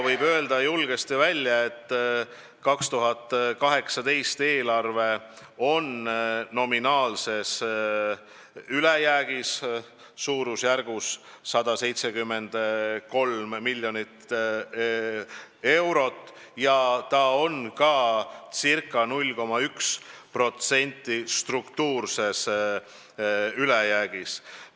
Võib julgesti välja öelda, et 2018. aasta eelarve on nominaalses ülejäägis umbes 173 miljoni euro võrra ja see on ka ca 0,1% ulatuses struktuurses ülejäägis.